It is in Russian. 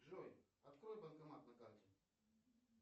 джой открой банкомат на карте